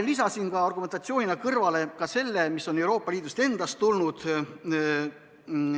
Ma lisasin argumentatsioonina selle selgituse, mis on Euroopa Liidust tulnud.